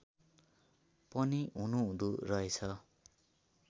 पनि हुनुहुँदो रहेछ